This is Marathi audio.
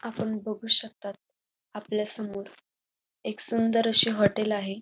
आपण बघू शकतात. आपल्यासमोर एक सुंदर अशी हॉटेल आहे.